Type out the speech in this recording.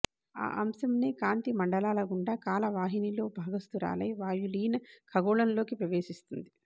ఆ అంశనే కాంతి మండలాల గుండా కాల వాహినిలో భాగస్తురాలై వాయులీన ఖగోళంలోకి ప్రవేశిస్తుంది